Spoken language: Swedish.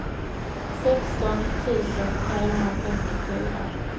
sexton tusen trehundrafemtiofyra